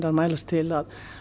að mælast til að